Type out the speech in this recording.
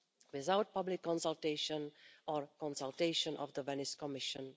without public consultation or consultation of the Venice Commission.